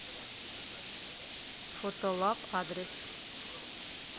фотолаб адрес